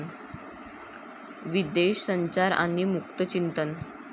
विदेश संचार आणि मुक्त चिंतन'